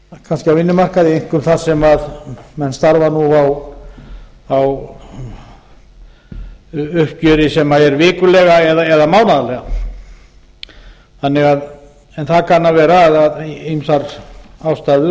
kannski á vinnumarkaði einkum þar sem menn starfa nú á uppgjöri sem er vikulega eða mánaðarlega en það kann að vera að ýmsar ástæður